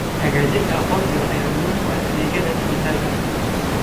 Xaqiijinta aqoonsiga ayaa muhiim u ah adeegyada dhijitaalka ah.